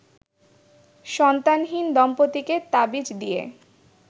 সন্তানহীন দম্পতিকে তাবিজ দিয়ে